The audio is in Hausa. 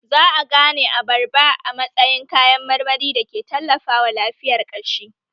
Za a gane abarba a matsayin kayan marmari da ke tallafawa lafiyar ƙashi